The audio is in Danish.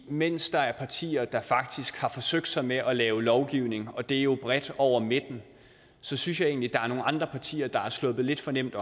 mens der er partier der faktisk har forsøgt sig med at lave lovgivning og det er jo bredt over midten så synes jeg egentlig at er nogle andre partier der er sluppet lidt for nemt